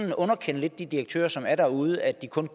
at underkende de direktører som er derude at de kun